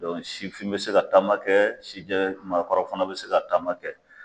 Dɔn sifin be se ka taama kɛ sijɛ marakɔrɔ fana be se ka taama kɛ